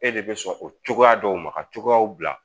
E de bɛ sɔn o cogoya dɔw ma ka cogoyaw bila